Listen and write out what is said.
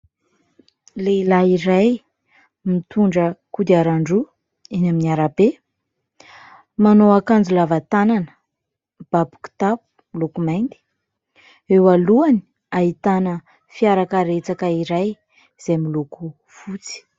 Lehilahy iray mitondra kodiaran-droa eny amin'ny arabe, manao akanjo lava tanana, mibaby kitapo miloko mainty. Eo alohany, ahitana fiara karetsaka iray izay miloko fotsy.